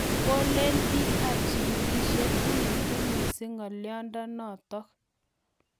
Kolen piik ap chigilset uitu missing' nga'aliondonotok.